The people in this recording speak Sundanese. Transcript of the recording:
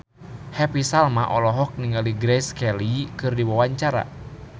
Happy Salma olohok ningali Grace Kelly keur diwawancara